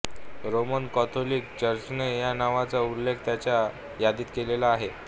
Roman Catholic चर्चने या नावाचा उल्लेख त्याच्या यादीत केलेला आहे